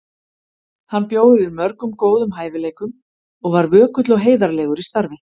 Hann bjó yfir mörgum góðum hæfileikum og var vökull og heiðarlegur í starfi.